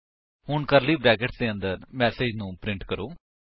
ਹੁਣ curly brackets ਦੇ ਅੰਦਰ ਮੈਸੇਜ ਨੂੰ ਪ੍ਰਿੰਟ ਕਰੋ